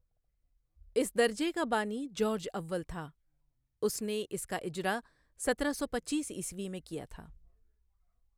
اس درجے کا بانی جارج اول تھا، اس نے اس کا اجرا سترہ سو پچیس عیسوی میں کیا تھا۔